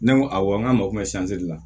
Ne ko awɔ n k'a mago bɛ la